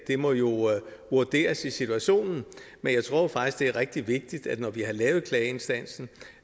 må jo vurderes i situationen men jeg tror faktisk det er rigtig vigtigt at når vi har lavet klageinstansen